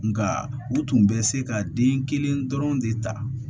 Nka u tun bɛ se ka den kelen dɔrɔn de ta